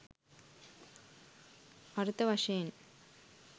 අර්ථ වශයෙන්